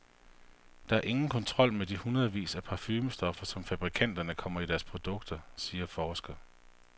Der er ingen kontrol med de hundredvis af parfumestoffer, som fabrikanterne kommer i deres produkter, siger forsker.